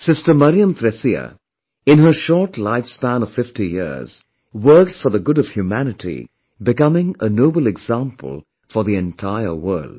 Sister MariamThresia, in her short lifespan of 50 years, worked for the good of humanity becoming a noble example for the entire world